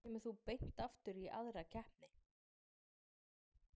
Af hverju kemur þú beint aftur í aðra keppni?